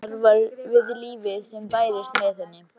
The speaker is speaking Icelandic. Hvísl hennar við lífið sem bærist með henni.